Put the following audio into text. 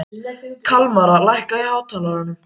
Kalmara, lækkaðu í hátalaranum.